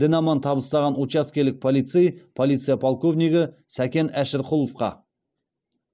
дін аман табыстаған учаскелік полицей полиция полковнигі сакен әшірқұловқа